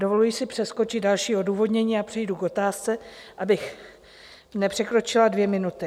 Dovoluji si přeskočit další odůvodnění a přejdu k otázce, abych nepřekročila dvě minuty.